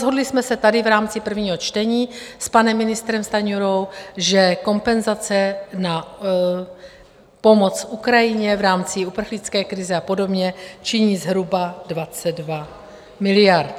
Shodli jsme se tady v rámci prvního čtení s panem ministrem Stanjurou, že kompenzace na pomoc Ukrajině v rámci uprchlické krize a podobně činí zhruba 22 miliard.